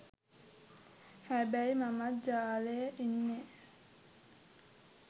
හැබැයි මමත් ජාලෙ ඉන්නෙ